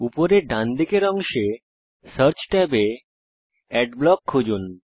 উপরের ডানদিকের অংশে সার্চ ট্যাবে অ্যাডব্লক খুঁজুন